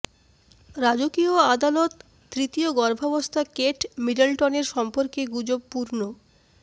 রাজকীয় আদালত তৃতীয় গর্ভাবস্থা কেট মিডলটনের সম্পর্কে গুজব পূর্ণ